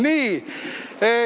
Nii ...